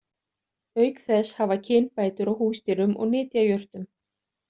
Auk þess hafa kynbætur á húsdýrum og nytjajurtum.